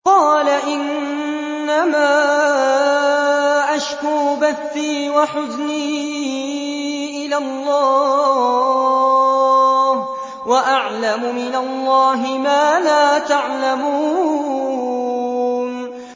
قَالَ إِنَّمَا أَشْكُو بَثِّي وَحُزْنِي إِلَى اللَّهِ وَأَعْلَمُ مِنَ اللَّهِ مَا لَا تَعْلَمُونَ